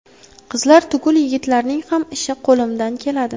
Qizlar tugul yigitlarning ham ishi qo‘limdan keladi.